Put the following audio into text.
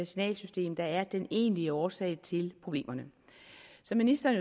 signalsystem der er den egentlige årsag til problemerne som ministeren